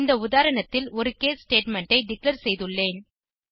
இந்த உதாரணத்தில் ஒரு கேஸ் ஸ்டேட்மெண்ட் ஐ டிக்ளேர் செய்துள்ளேன்